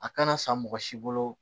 A kana san mɔgɔ si bolo